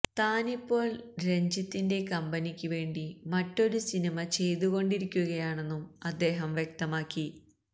താനിപ്പോൾ രഞ്ജിത്തിന്റെ കമ്പനിക്ക് വേണ്ടി മറ്റൊരു സിനിമ ചെയ്തുകൊണ്ടിരിക്കുകയാണെന്നും അദ്ദേഹം വ്യക്തമാക്കി